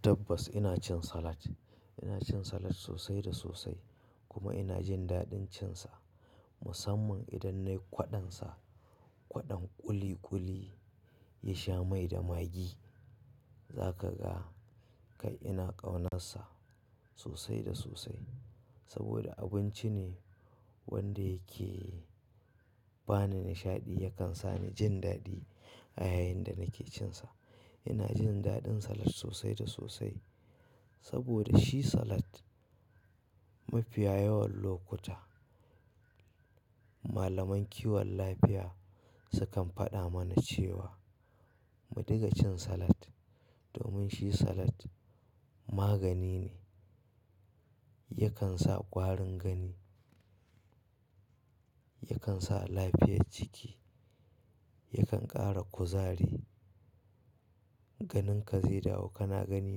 Tabbas ina cin salat. Ina cin salat sosai da sosai kuma ina jin daɗin cinsa, musamman idan nayi kwaɗansa, kwaɗon ƙuli ƙuli ya sha mai da magi. Za ka ga kai ina ƙaunarsa sosai da sosai. Saboda abinci ne wanda yake bani nishaɗi, yakan sa ni jin daɗi a yayin da nake cinsa. Ina jin daɗin salat sosai da sosai saboda shi salat mafiya yawan lokuta malaman kiwon lafiya sukan faɗa mana cewa mu diga cin salat domin shi salat magani ne, yakan sa ƙwarin gani, yakan sa lafiyar ciki, yakan ƙara kuzari, ganinka zai dawo kana gani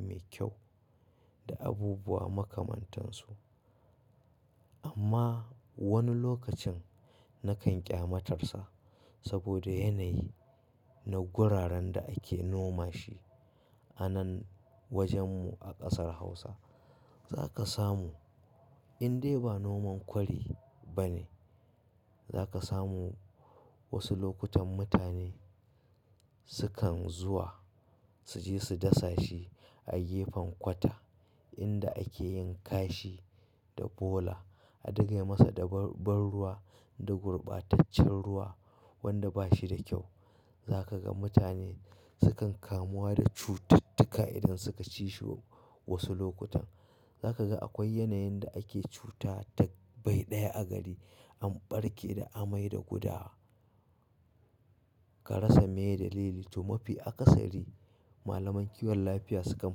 mai kyau da abubuwa makamantansu. Amma wani lokacin nakan ƙyamatarsa saboda yanayi na guraren da ake noma shi a nan wajenmu a ƙasar Hausa. Za ka samu in dai ba noman kwari ba ne, za ka samu wasu lokutan mutane sukan zuwa su je su dasa shi a gefen kwata inda ake yin kashi da bola, a dinga masa ban ruwa da gurbataccen ruwa wanda bashi da kyau. Za ka ga mutane sukan kamuwa da cututtuka idan suka ci shi wasu lokutan. Za ka ga akwai yanayin da ake cuta ta bai ɗaya a gari, an ɓarke da amai da gudawa, karasa, miya da lili to mafi akasari malaman kiwon lafiya sukan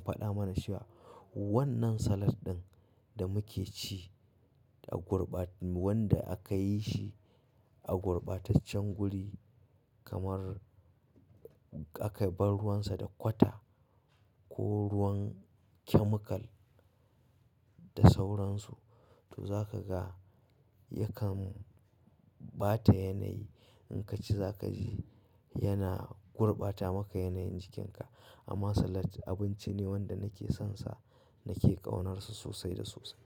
faɗa mana cewa wannan salat ɗin da muke ci a gurbat-- wanda aka yi shi a gurbataccen guri kamar aka bar ruwansa da kwata ko ruwan chemical da sauransu, to za ka ga yakan bata yanayi. In ka ci za ka ji yana gurbata maka yanayin jikinka. Amma salat abinci ne wanda nake sonsa, nake ƙaunarsa sosai da sosai.